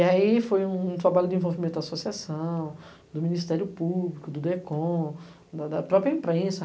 E aí foi um trabalho de envolvimento da associação, do Ministério Público, do DECOM, da própria imprensa.